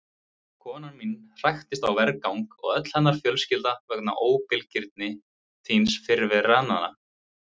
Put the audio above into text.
Konan mín hraktist á vergang og öll hennar fjölskylda vegna óbilgirni þíns fyrirrennara.